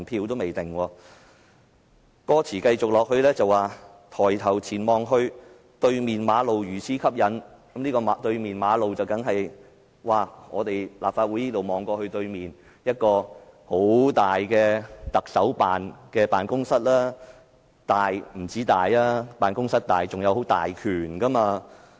往後的歌詞是："抬頭前望去對面馬路如此吸引"，這個"對面的馬路"，所指的意象當然是從立法會綜合大樓看到的對面，就是一幢很大的行政長官辦公室，不單辦公室大，權力當然也大。